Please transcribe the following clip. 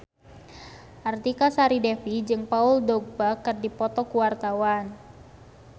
Artika Sari Devi jeung Paul Dogba keur dipoto ku wartawan